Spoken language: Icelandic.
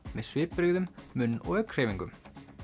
með svipbrigðum munn og augnhreyfingum